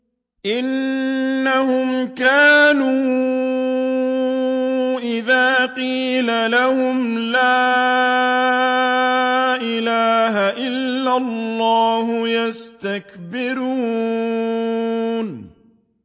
إِنَّهُمْ كَانُوا إِذَا قِيلَ لَهُمْ لَا إِلَٰهَ إِلَّا اللَّهُ يَسْتَكْبِرُونَ